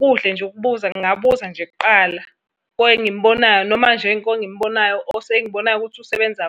Kuhle nje ukubuza, ngingabuza nje kuqala kwengimubonayo, noma nje kwengimubonayo engimubonayo ukuthi usebenza.